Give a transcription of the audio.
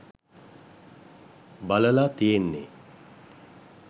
බලලා තියෙන්නේ